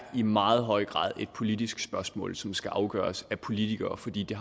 i meget høj grad et politisk spørgsmål som skal afgøres af politikere fordi det